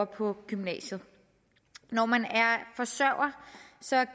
på gymnasiet når man er forsørger